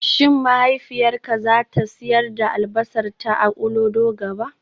Shin mahaifiyarka za ta sayar da albasarta a Olodo gaba?